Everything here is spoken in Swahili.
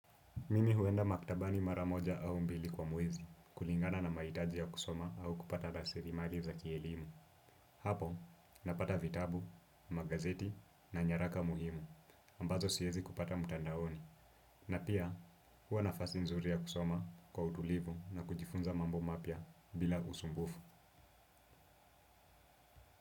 Mimi huenda maktabani maramoja au mbili kwa mwezi, kulingana na mahitaji ya kusoma au kupata raslimali za kielimu. Hapo napata vitabu magazeti na nyaraka muhimu ambazo siwezi pata mtandaoni na pia huwa nafasi nzuri ya kusoma kwa utulivu na kujifunza mambo mapya bila usumbufu.